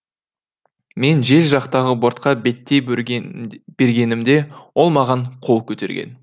мен жел жақтағы бортқа беттей бергенімде ол маған қол көтерген